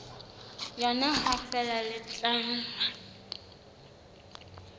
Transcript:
yona ha feela le tla